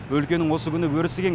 өлкенің осы күні өрісі кең